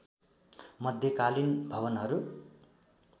मध्यकालीन भवनहरू